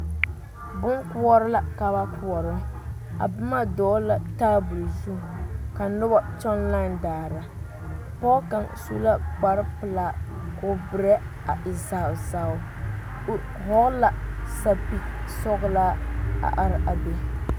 Bonkoɔre la ka ba koɔrɔ a boma dɔgle la tabol zu ka noba kyɔŋ lae daara pɔge kaŋ su la kparepelaa k,o berɛ a e zau zau o hɔgle la sapigesɔglaa a are a be.